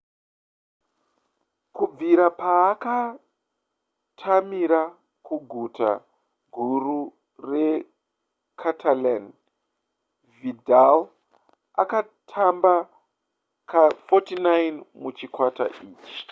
kubvira paakatamira kuguta guru recatalan vidal atamba ka49 muchikwata ichi